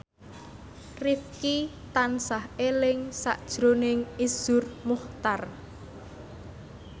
Rifqi tansah eling sakjroning Iszur Muchtar